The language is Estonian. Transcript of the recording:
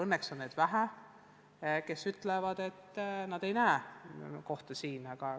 Õnneks on vähe neid, kes ütlevad, et nad ei näe meie riigis endale kohta.